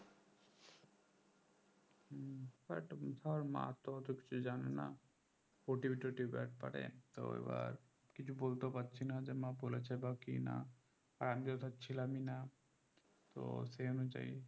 হম but ধর মা তো অত কিছু জানে না OTP টোটিপি একবারে তো এবার কিছু বলতেও পারছিনা যে মা বলেছে বা কিনা আর আমি তো ধর ছিলামই নাতো সে অনুযায়ী